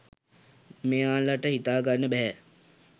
මෙයාලට හිතාගන්න බැහැ